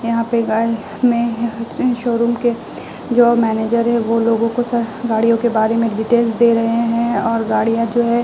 यहां पे गाय में शोरूम के जो मैनेजर है वो लोगों को स गाड़ियों के बारे में डिटेल्स दे रहे हैं और गाडियां जो हैं --